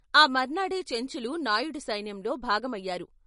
ఆ మర్నాడే చెంచులు నాయుడి సైన్యంలో భాగమయ్యారు.